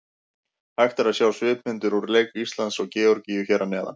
Hægt er að sjá svipmyndir úr leik Íslands og Georgíu hér að neðan.